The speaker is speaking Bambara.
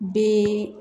Den